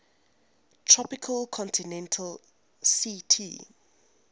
tropical continental ct